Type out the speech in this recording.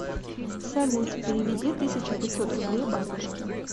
салют переведи тысяча пятьсот рублей бабушке